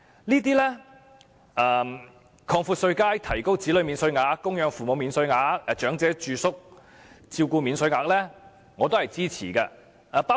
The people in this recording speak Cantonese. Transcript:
對於擴闊稅階以及增加子女免稅額、供養父母免稅額和長者住宿照顧開支的扣除上限等措施，我都是支持的。